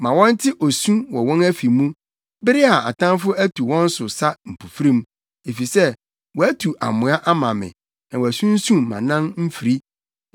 Ma wɔnte osu wɔ wɔn afi mu bere a atamfo atu wɔn so sa mpofirim, efisɛ wɔatu amoa ama me, na wɔasunsum mʼanan mfiri.